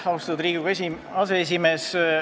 Austatud Riigikogu aseesimees!